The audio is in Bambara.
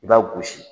I b'a gosi